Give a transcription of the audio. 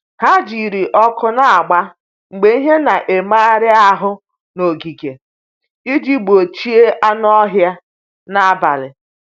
Ha jiri ọkụ na-agba mgbe ihe na-emegharị ahụ n’ogige iji gbochie anụ ọhịa n’abalị.